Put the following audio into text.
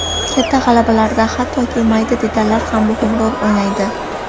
Katta g‘alabalarda hattoki mayda detallar ham muhim rol o‘ynaydi.